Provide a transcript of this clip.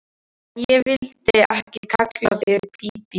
En ég vildi ekki kalla þig Bíbí.